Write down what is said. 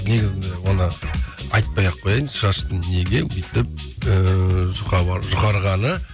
негізінде оны айтпай ақ қояйын шаштың неге өйтіп ыыы жұқарғаны